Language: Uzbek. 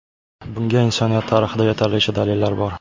Bunga insoniyat tarixida yetarlicha dalillar bor.